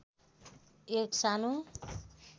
एक सानो